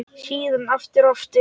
Síðan aftur og aftur.